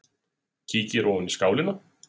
Kíkir ofan í skálina.